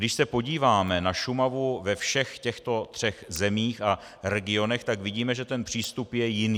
Když se podíváme na Šumavu ve všech těchto třech zemích a regionech, tak vidíme, že ten přístup je jiný.